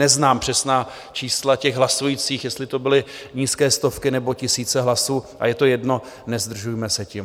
Neznám přesná čísla těch hlasujících, jestli to byly nízké stovky nebo tisíce hlasů, a je to jedno, nezdržujme se tím.